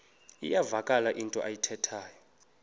iyavakala into ayithethayo